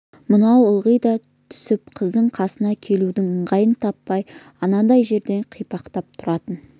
мынау ылдиға түсіп қыздың қасына келудің ыңғайын таппай анадай жерде қипақтап тұратын